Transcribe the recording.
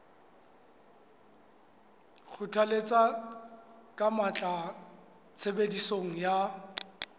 kgothalletsa ka matla tshebediso ya